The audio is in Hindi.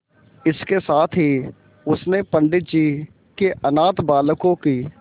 इसके साथ ही उसने पंडित जी के अनाथ बालकों की